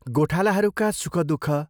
गोठालाहरूका सुख भ्रमर